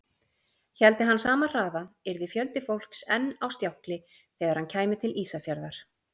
Héldi hann sama hraða, yrði fjöldi fólks enn á stjákli þegar hann kæmi til Ísafjarðar.